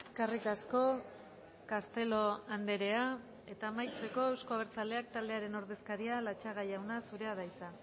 eskerrik asko castelo andrea eta amaitzeko euzko abertzaleak taldearen ordezkaria latxaga jauna zurea da hitza